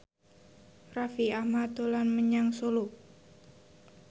Raffi Ahmad dolan menyang Solo